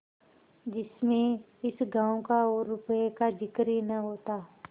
जिसमें इस गॉँव का और रुपये का जिक्र ही न होता